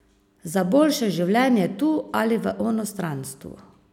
Za boljše življenje tu ali v onstranstvu.